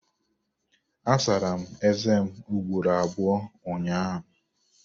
Asara m ézé m ugboro abụọ ụnyaahụ.